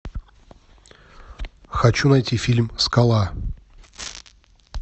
хочу найти фильм скала